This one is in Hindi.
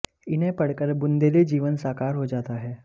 इन्हें पढ कर बुन्देली जीवन साकार हो जाता है